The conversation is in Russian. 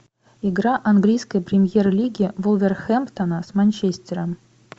игра английской премьер лиги вулверхэмптона с манчестером